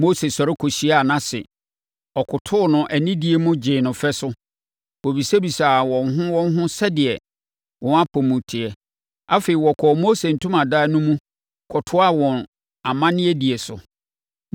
Mose sɔre kɔhyiaa nʼase. Ɔkotoo no anidie mu gyee no fɛ so. Wɔbisabisaa wɔn ho wɔn ho sɛdeɛ wɔn apɔ mu te. Afei, wɔkɔɔ Mose ntomadan no mu kɔtoaa wɔn amanneɛdie so.